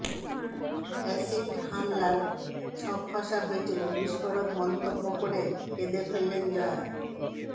acid হামলার ছক কষা হয়েছিল বিস্ফোরক মন্তব্য করে কেঁদে ফেললেন জয়া